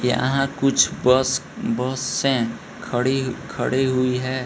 यहाँ कुछ bus bus है खड़ी-खड़ी हुई है |